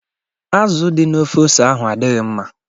Azụ dị na ofe ose ahụ adịghị mma.